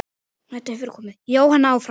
Jóhann áfram.